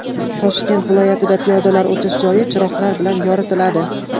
Toshkent viloyatida piyodalar o‘tish joyi chiroqlar bilan yoritiladi .